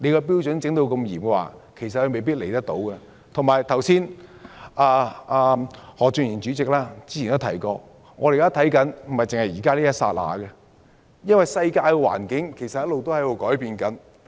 小組委員會主席何俊賢議員早前亦提及，我們要顧及的並非只是現在的一剎那，因為世界環境一直改變。